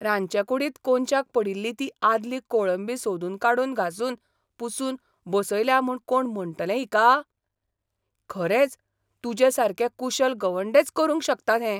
रांदचेकूडींत कोनशाक पडिल्ली ती आदली कोळंबी सोदून काडून घासून पुसून बसयल्या म्हूण कोण म्हणटले हिका? खरेंच, तुजेसारके कुशल गवंडेच करूंक शकतात हें.